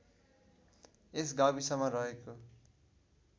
यस गाविसमा रहेको